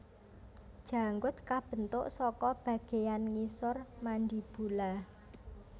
Janggut kabentuk saka bagéan ngisor mandibula